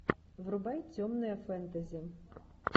врубай темное фэнтези